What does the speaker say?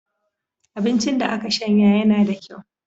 Abincin da aka shanya yanana da kyau.